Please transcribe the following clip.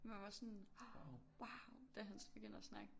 Man var sådan wauw da han begyndte at snakke